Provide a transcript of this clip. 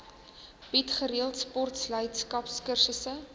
bied gereeld sportleierskapskursusse